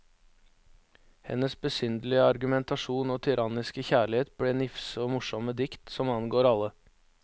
Hennes besynderlige argumentasjon og tyranniske kjærlighet ble nifse og morsomme dikt, som angår alle.